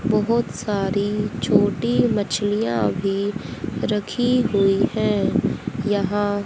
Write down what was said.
बहुत सारी छोटी मछलियां अभी रखी हुई हैं यहां--